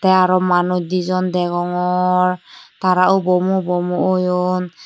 tey aro manuj di jon degongor tara ubomu ubomu oyun.